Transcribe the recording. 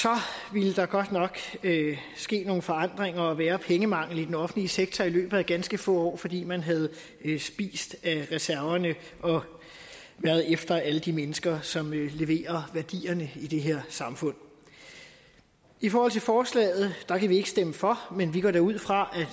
ville der godt nok ske nogle forandringer og være pengemangel i den offentlige sektor i løbet af ganske få år fordi man havde spist af reserverne og været efter alle de mennesker som leverer værdierne i det her samfund i forhold til forslaget kan vi ikke stemme for men vi går da ud fra